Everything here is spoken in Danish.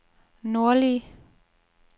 nordlige